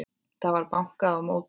Það var bankað á móti.